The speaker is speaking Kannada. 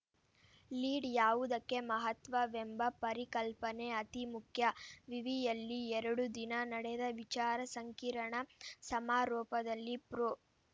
ಲೀಡ್‌ ಯಾವುದಕ್ಕೆ ಮಹತ್ವವೆಂಬ ಪರಿಕಲ್ಪನೆ ಅತೀ ಮುಖ್ಯ ವಿವಿಯಲ್ಲಿ ಎರಡು ದಿನ ನಡೆದ ವಿಚಾರ ಸಂಕಿರಣ ಸಮಾರೋಪದಲ್ಲಿ ಪ್ರೊ